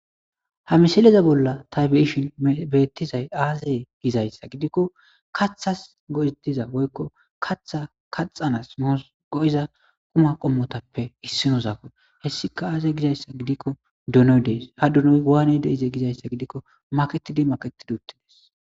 ha misileza bolla ta be'ishin beettizay aazey gizayssa gidikko kathas go7etiza boykko katha kaxanas moo go7iza quma qommotappe issinozako hessika aazey gizayssa gidikko donoy dees ha donoy waayne de'ize gizayssa gidikko maketidi makettid uttides